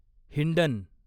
Hindon